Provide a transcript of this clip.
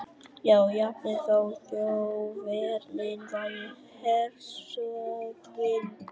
já, jafnvel þótt Þjóðverjinn væri hershöfðingi.